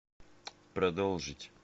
продолжить